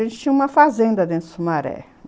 A gente tinha uma fazenda dentro do Sumaré.